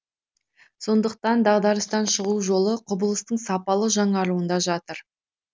сондықтан дағдарыстан шығу жолы құбылыстың сапалы жаңаруында жатыр